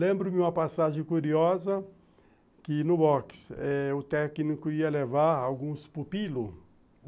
Lembro-me uma passagem curiosa, que no box eh o técnico ia levar alguns pupilos.